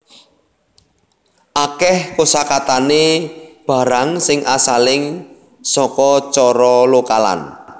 Akeh kosakatane barang sing asaling saka cara lokalan